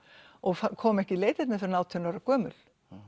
og kom ekki í leitirnar fyrr en átján ára gömul